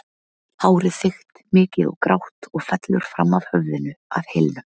Hárið þykkt, mikið og grátt og fellur fram af höfðinu að hylnum.